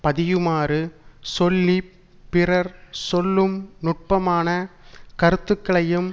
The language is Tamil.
பதியுமாறு சொல்லி பிறர் சொல்லும் நுட்பமான கருத்துக்களையும்